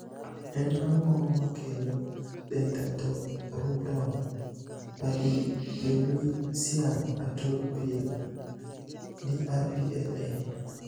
En ang`o makelo dentatorubral pallidoluysian atrophy (DRPLA)?